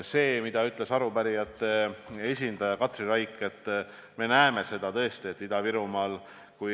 Seda, mida ütles arupärijate esindaja Katri Raik, me tõesti Ida-Virumaal näeme.